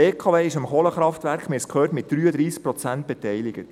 Die BKW ist am Kohlekraftwerk – wir haben es gehört – mit 33 Prozent beteiligt.